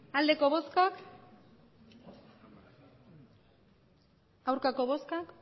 emandako botoak hirurogeita